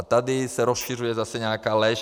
A tady se rozšiřuje zase nějaká lež.